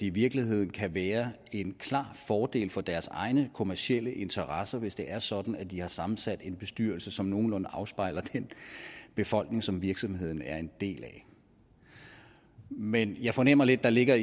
i virkeligheden kan være en klar fordel for deres egne kommercielle interesser hvis det er sådan at de har sammensat en bestyrelse som nogenlunde afspejler den befolkning som virksomheden er en del af men jeg fornemmer lidt at der ligger